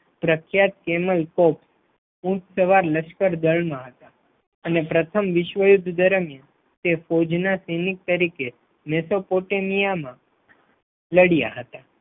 પ્રખ્યાત તેમજ તોપ ઊંટ લશ્કર દળમાં હતા અને પ્રથમ વિશ્વયુદ્ધ દરમિયાન તે ફૌજ સૈનિક તરીકે નેતેપોટમાં લડ્યા હતા.